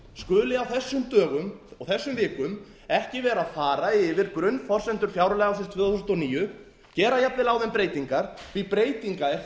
skuli á þessum dögum og þessum vikum ekki vera að fara yfir grunnforsendur fjárlaga ársins tvö þúsund og níu gera jafnvel á þeim breytingar því breytinga er